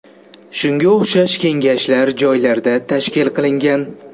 Shunga o‘xshash kengashlar joylarda tashkil qilingan.